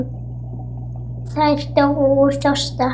Þær dóu úr þorsta.